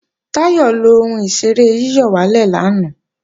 Táyọ̀ lọ ohun ìṣeré yíyọ̀wálè lanay